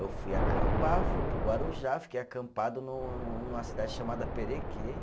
Eu fui acampar, fui para o Guarujá, fiquei acampado no no numa cidade chamada Perequê.